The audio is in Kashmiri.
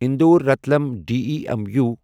اندور رتلم ڈیمو